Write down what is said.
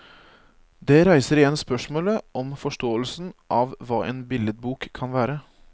Det reiser igjen spørsmålet om forståelsen av hva en billedbok kan være.